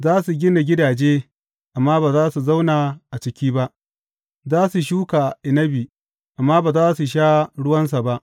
Za su gina gidaje amma ba za su zauna a ciki ba; za su shuka inabi amma ba za su sha ruwansa ba.